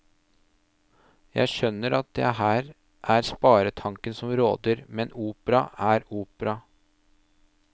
Jeg skjønner at det her er sparetanken som råder, men opera er opera.